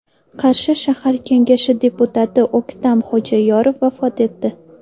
Qarshi shahar kengashi deputati O‘ktam Xo‘jayorov vafot etdi.